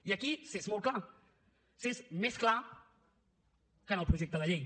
i aquí s’és molt clar s’és més clar que en el projecte de llei